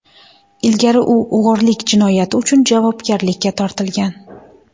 Ilgari u o‘g‘irlik jinoyati uchun javobgarlikka tortilgan.